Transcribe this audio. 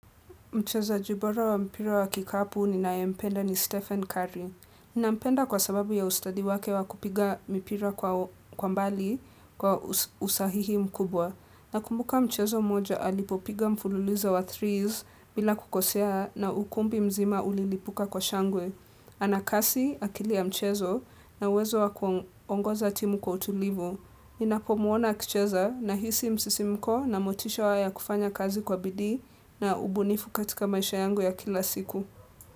Mchezaji bora wa mpira wa kikapu ninaye mpenda ni Stephen Curry. Ni nampenda kwa sababu ya ustadi wake wa kupiga mpira kwa mbali kwa usahihi mkubwa. Nakumbuka mchezo moja alipopiga mfululizo wa threes bila kukosea na ukumbi mzima ulilipuka kwa shangwe. Anakasi akili ya mchezo na uwezo wa kuongoza timu kwa utulivu. Nina puomuona akicheza nahisi msisimko na motisha wa ya kufanya kazi kwa bidii na ubunifu katika maisha yangu ya kila siku.